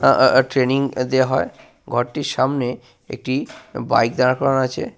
আহ আহ আহ ট্রেনিং দেওয়া হয়। ঘরটির সামনে একটি বাইক দাঁড় করানো আছে।